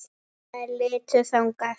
Þær litu þangað.